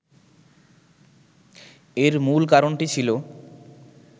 এর মূল কারণটি ছিল